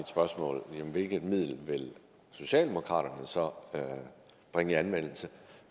spørgsmål hvilke midler vil socialdemokraterne så bringe i anvendelse